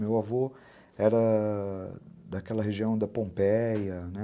Meu avô era daquela região da Pompeia, né?